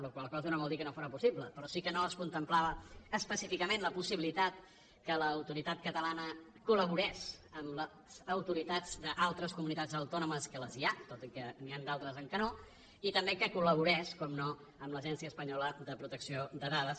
la qual cosa no vol dir que no fóra possible però sí que no es contemplava específicament la possibilitat que l’autoritat catalana col·laborés amb les autoritats d’altres comunitats autònomes que les hi ha tot i que n’hi han d’altres en què no i també que col·laborés naturalment amb l’agència espanyola de protecció de dades